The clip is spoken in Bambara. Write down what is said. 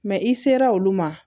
i sera olu ma